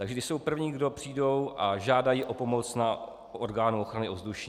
Takže ti jsou první kdo přijdou a žádají o pomoc na orgánu ochrany ovzduší.